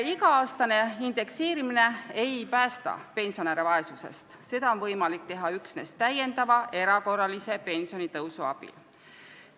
Iga-aastane indekseerimine pensionäre vaesusest ei päästa, seda on võimalik saavutada üksnes erakorralise pensionitõusu abil.